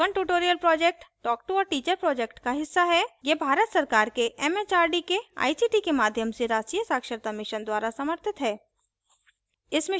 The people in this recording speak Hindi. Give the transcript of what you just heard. spoken tutorial project talktoateacher project का हिस्सा है यह भारत सरकार के एमएचआरडी के आईसीटी के माध्यम से राष्ट्रीय साक्षरता mission द्वारा समर्थित है